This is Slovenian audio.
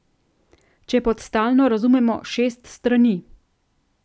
Če pod stalno razumemo šest strani.